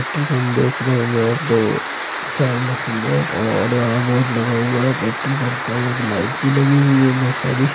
Petrol pump देख रहे होंगे दो चार मशीन है और यहां बोर्ड लगा हुआ है पेट्रोल पंप का एक लाइट भी लगी हुई है। बहुत सारी--